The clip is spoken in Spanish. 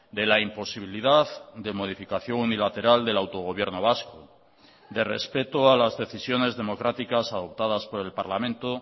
de la imposibilidad de modificación unilateral del autogobierno vasco de respeto a las decisiones democráticas adoptadas por el parlamento